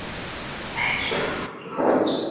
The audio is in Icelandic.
Nei, svaraði hún lágt.